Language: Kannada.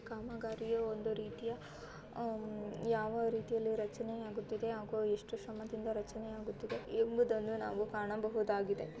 ಕಾಮಗಾರಿಯ ಒಂದು ರೀತಿಯ ಯಾವ ರೀತಿಯಲ್ಲಿ ರಚನೆ ಆಗುತಿದ್ದೆ ಹಾಗು ಎಷ್ಟು ಶ್ರಮದಿಂದ ರಚನೆ ಅಗುತಿದೆ ಎಂಬುದನ್ನು ನಾವು ಕಾಣಬಹುದಾಗಿದೆ.